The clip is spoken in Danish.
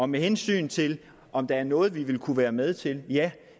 med hensyn til om der er noget vi ville kunne være med til er ja